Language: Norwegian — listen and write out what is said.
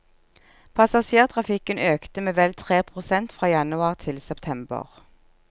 Passasjertrafikken økte med vel tre prosent fra januar til september.